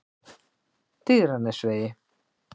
Digranesvegi